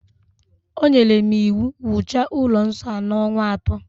O nyere m iwu, wuchaa ụlọ nsọ a n'ọnwa ato